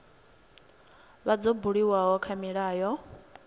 vha dzo buliwa kha milayo